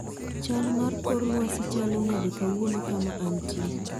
Chal mar kor lwasi chalo nade kawuono kama antie